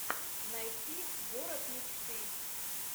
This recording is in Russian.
найти город мечты